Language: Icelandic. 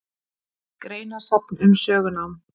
Greinasafn um sögunám.